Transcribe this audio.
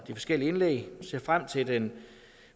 forskellige indlæg jeg ser frem til den